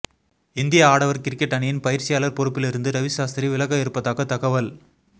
இந்திய ஆடவர் கிரிக்கெட் அணியின் பயிற்சியாளர் பொறுப்பில் இருந்து ரவி சாஸ்திரி விலக இருப்பதாக தகவல்